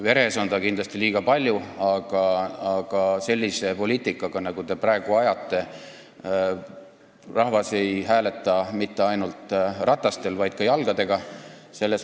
Veres nii palju alkoholi on kindlasti liiga palju, aga sellise poliitika peale, nagu te praegu ajate, ei hääleta rahvas mitte ainult rataste abil, vaid ka jalgadega.